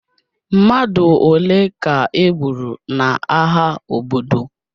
Mmadụ ole ka e gburu n'agha obodo?